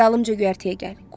Dalımca göyərtəyə gəl.